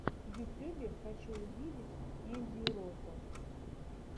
в ютюбе хочу увидеть ендьюро топ